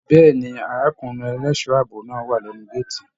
Bẹ̀ẹ́ni, arákùnrin ẹlẹṣọ ààbò náà wà lẹnu gàátí.